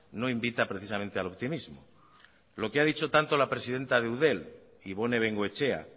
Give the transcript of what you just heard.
no invita precisamente al optimismo lo que ha dicho tanto la presidenta de eudel ibone bengoetxea